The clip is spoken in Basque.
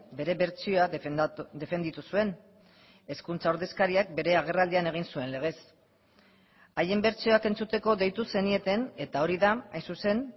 bere bertsioa defenditu zuen hezkuntza ordezkariak bere agerraldian egin zuen legez haien bertsioak entzuteko deitu zenieten eta hori da hain zuzen